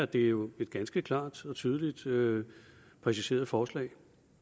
det er jo et ganske klart og tydeligt tydeligt præciseret forslag